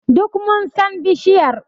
Duk mun san bishiyar.